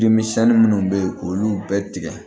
Deminisɛnnin minnu bɛ yen k'olu bɛɛ tigɛ